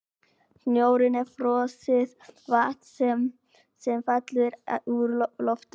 Snjórinn er frosið vatn sem fellur úr loftinu.